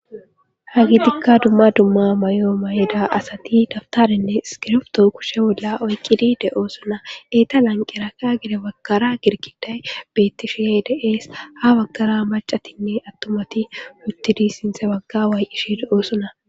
Ha gitikka dumma dumma mayoo mayeda asati daftarinne iskirefto kushe bolla oyqqidide oosona eyta lanqeraka gede waggara girkiday bettishiedes ha waggara macatinne attomati wuttidi sinthe bagga way ishi de oosona.